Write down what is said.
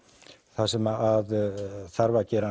það sem þarf að gera